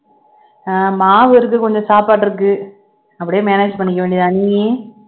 ஆஹ் மாவு இருக்கு கொஞ்சம் சாப்பாடு இருக்கு அப்படியே manage பண்ணிக்க வேண்டியதுதானே நீ